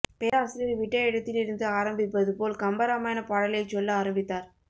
பேராசிரியர் விட்ட இடத்தில் இருந்து ஆரம்பிப்பது போல் கம்பராமயணப்பாடலைச் சொல்ல ஆரம்பித்தார்